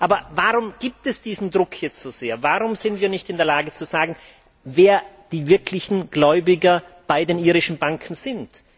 Aber warum gibt es diesen Druck jetzt so sehr, warum sind wir nicht in der Lage, zu sagen, wer die wirklichen Gläubiger bei den irischen Banken sind.